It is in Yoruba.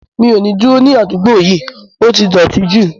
Mi ò ní dúró ní àdúgbò yìí, ó ti dọ̀ọ̀tí jù